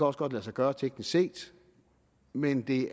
også godt lade sig gøre teknisk set men det